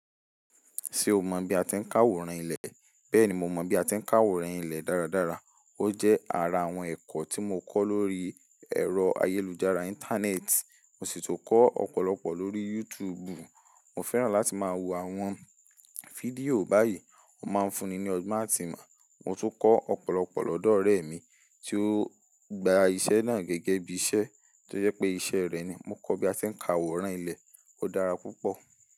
Ṣé o mọ bí a ti ń ka aworan ilé? Bẹ́ẹ̀ni mo mọ bí a ti ń ka aworan ilé dáradára. Ó jẹ́ ara àwọn ẹ̀kọ́ tí mo kọ́ lórí ẹ̀rọ ayélujára Íńtánẹ́ẹ̀tì, mo sì tú kọ́ ọ̀pọ̀lọpọ̀ lórí Youtùùbù. Mo fẹ́ràn láti máa wo àwọn fídíò báyìí, ó máa ń fúnni ní ọgbọ́n àti ìmọ̀. Mo tún kọ ọ̀pọ̀lọpọ̀ lọ́dọ̀ ọ̀rẹ́ mi tí ó gba iṣẹ́ náà gẹ́gẹ́ bí iṣẹ́ tó yẹ pé iṣẹ́ rẹ̀ ni. Mo kọ́ bí a ti ń ka aworan ilé, ó dára púpọ̀.